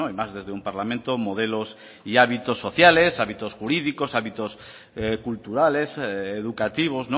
más desde un parlamento modelos y hábitos sociales hábitos jurídicos hábitos culturales educativos